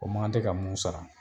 O man kan tɛ ka mun sara